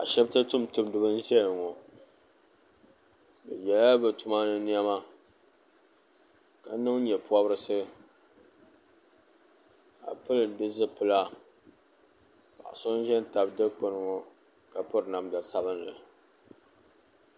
ashibiti tumtumdiba n-ʒeya ŋɔ bɛ yela bɛ tuma ni nɛma ka niŋ nyɛpɔbirisi ka pili di zipila paɣ' so n-ʒe tabi dikpuni ŋɔ ka piri namda sabilnli